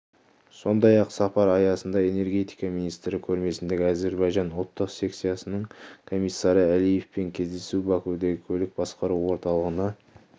сондай-ақ сапар аясында энергетика министрі көрмесіндегі әзербайжан ұлттық секциясының комиссары алиевпен кездесу бакудегі көлік басқару орталығына